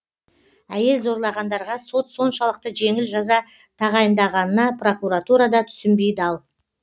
әйел зорлағандарға сот соншалықты жеңіл жаза тағайындағанына прокуратура да түсінбей дал